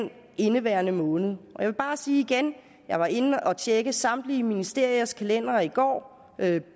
indeværende måned jeg vil bare sige igen jeg var inde at tjekke samtlige ministeriers kalendere i går